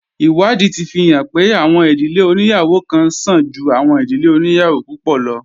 Ìwádìí ti fi hàn pé, àwọn ìdílé oníyàwó kan sàn ju àwọn ìdílé oníyàwó púpọ̀ lo